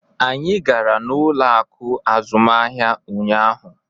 Anyị gara n'ụlọ akụ azụmaahịa ụnyaahụ.